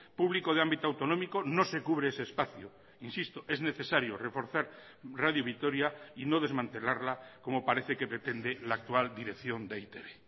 público de ámbito autonómico no se cubre ese espacio insisto es necesario reforzar radio vitoria y no desmantelarla como parece que pretende la actual dirección de e i te be